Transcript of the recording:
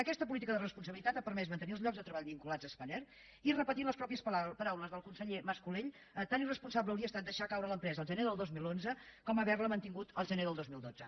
aquesta política de responsabilitat ha permès mantenir els llocs de treball vinculats a spanair i repetint les paraules del mateix conseller mas colell tant irresponsable hauria estat deixar caure l’empresa el gener del dos mil onze com haver la mantingut el gener del dos mil dotze